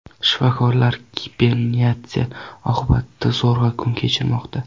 Shifokorlar giperinflyatsiya oqibatida zo‘rg‘a kun kechirmoqda.